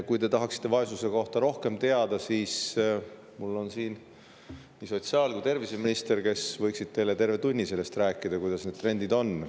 Kui te tahate vaesuse kohta rohkem teada, siis siin on nii sotsiaal‑ kui ka terviseminister, kes võiksid teile terve tunni rääkida, kuidas need trendid on.